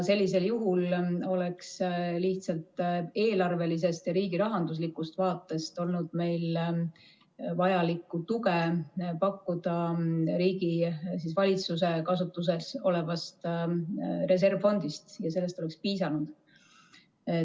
Sellisel juhul oleks lihtsalt eelarvelises ja riigirahanduslikus vaates olnud meil vajalikku tuge pakkuda valitsuse kasutuses olevast reservfondist ja sellest oleks piisanud.